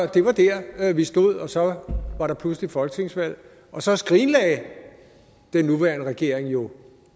det var der vi stod og så var der pludselig folketingsvalg og så skrinlagde den nuværende regering jo